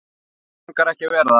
Langar ekki að vera það.